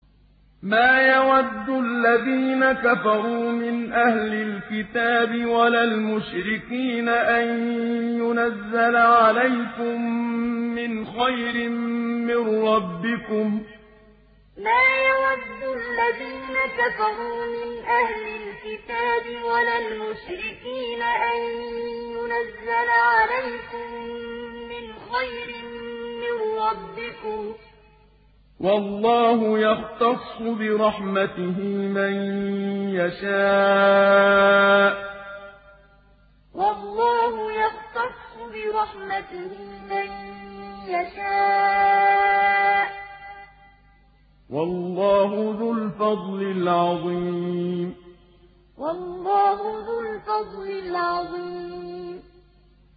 مَّا يَوَدُّ الَّذِينَ كَفَرُوا مِنْ أَهْلِ الْكِتَابِ وَلَا الْمُشْرِكِينَ أَن يُنَزَّلَ عَلَيْكُم مِّنْ خَيْرٍ مِّن رَّبِّكُمْ ۗ وَاللَّهُ يَخْتَصُّ بِرَحْمَتِهِ مَن يَشَاءُ ۚ وَاللَّهُ ذُو الْفَضْلِ الْعَظِيمِ مَّا يَوَدُّ الَّذِينَ كَفَرُوا مِنْ أَهْلِ الْكِتَابِ وَلَا الْمُشْرِكِينَ أَن يُنَزَّلَ عَلَيْكُم مِّنْ خَيْرٍ مِّن رَّبِّكُمْ ۗ وَاللَّهُ يَخْتَصُّ بِرَحْمَتِهِ مَن يَشَاءُ ۚ وَاللَّهُ ذُو الْفَضْلِ الْعَظِيمِ